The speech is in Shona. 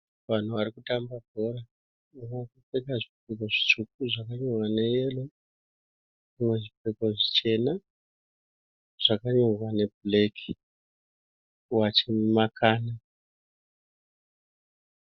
Vanhu vari kutamba bhora. Vakapfeka zvipfeko zvitsvuku zvakanyorwa neyero vamwe zvipfeko zvichena zvakanyorwa nebhureki vachimakana.